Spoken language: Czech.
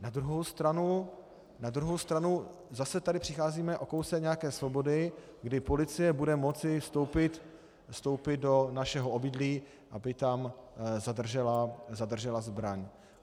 Na druhou stranu, zase tady přicházíme o kousek nějaké svobody, kdy policie bude moci vstoupit do našeho obydlí, aby tam zadržela zbraň.